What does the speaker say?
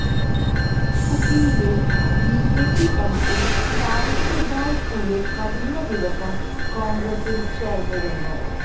യുപിയിലെ BJP MP Savitribai Phule കഴിഞ്ഞ ദിവസം കോണ്ഗ്രസില് ചേര്ന്നിരുന്നു